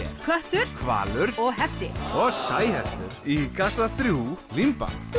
köttur hvalur og hefti og sæhestur í kassa þrjú límband þú